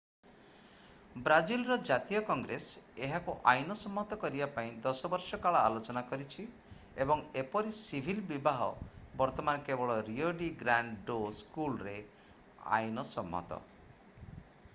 ବ୍ରାଜିଲର ଜାତୀୟ କଂଗ୍ରେସ ଏହାକୁ ଆଇନସମ୍ମତ କରିବା ପାଇଁ 10 ବର୍ଷ କାଳ ଆଲୋଚନା କରିଛି ଏବଂ ଏପରି ସିଭିଲ୍ ବିବାହ ବର୍ତ୍ତମାନ କେବଳ ରିଓ ଡି ଗ୍ରାଣ୍ଡ ଡୋ ସୁଲରେ ଆଇନସମ୍ମତ